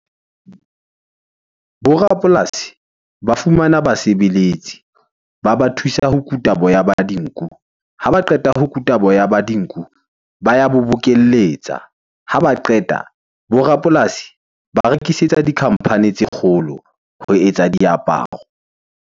Bo rapolasi ba fumana basebeletsi. Ba ba thusa ho kuta boya ba dinku. Ha ba qeta ho kutwa boya ba dinku, ba ya bo bokelletsa. Ha ba qeta, bo rapolasi ba rekisetsa di-company tse kgolo ho etsa diaparo.